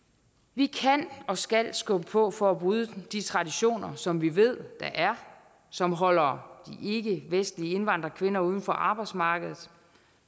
vi kan og skal skubbe på for at bryde de traditioner som vi ved der er som holder ikkevestlige indvandrerkvinder uden for arbejdsmarkedet